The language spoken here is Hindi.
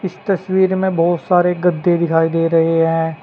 इस तस्वीर में बहोत सारे गद्दे दिखाई दे रहे हैं।